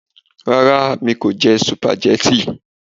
Ràrà, mi kò jẹ sùpàgẹ́tì